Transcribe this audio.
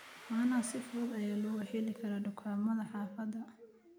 Caanaha si fudud ayaa looga heli karaa dukaamada xaafadda.